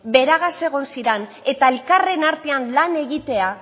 beragaz egon ziren eta elkarren artean lan egitea